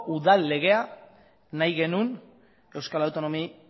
udal legea nahi genuen euskal autonomia